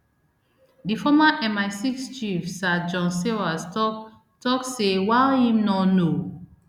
di former misix chief sir john sawers tok tok say while im no know